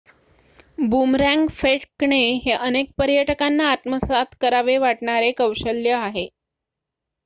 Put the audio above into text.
boomerang फेकणे हे अनेक पर्यटकांना आत्मसात करावे वाटणारे कौशल्य आहे